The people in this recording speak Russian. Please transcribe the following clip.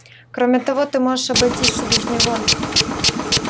кроме того ты можешь обойтись и без него